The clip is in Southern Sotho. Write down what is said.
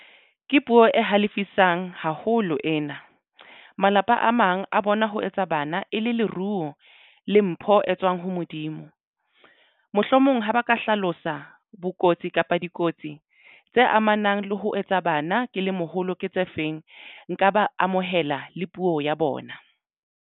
Ke puo e halefisang haholo ena. Malapa a mang a bona ho etsa bana e le leruo le mpho e tswang ho Modimo. Mohlomong o mong ha ba ka hlalosa bokotsi kapa dikotsi tse amanang le ho etsa bana ke le moholo. Ke tse feng nka ba amohela le puo ya bona.